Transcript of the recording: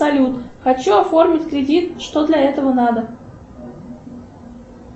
салют хочу оформить кредит что для этого надо